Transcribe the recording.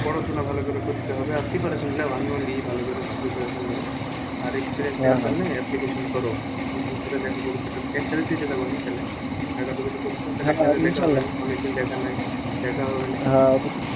পড়াশোনা ভালো করে করতে হবে আমি লি ভালো করে prepration